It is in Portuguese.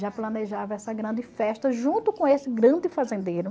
Já planejava essa grande festa junto com esse grande fazendeiro.